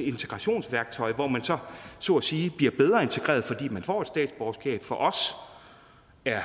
et integrationsværktøj hvor man så så at sige bliver bedre integreret fordi man får et statsborgerskab for os er